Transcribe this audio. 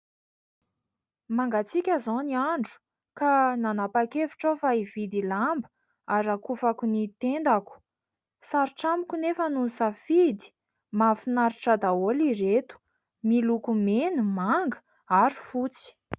Mangatsika izao ny andro ka nanapa-kevitra aho fa hividy lamba harakofako ny tendako. Sarotra amiko anefa no hisafidy. Mahafinaritra daholo ireto miloko mena, manga ary fotsy.